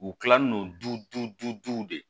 U kilalen don duw de